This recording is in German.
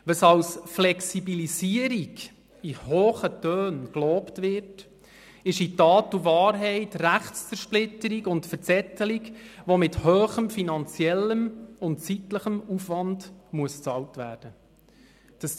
Was als Flexibilisierung in hohen Tönen gelobt wird, ist in Tat und Wahrheit Rechtszersplitterung und Verzettelung, die mit grossem finanziellem und zeitlichem Aufwand bezahlt werden muss.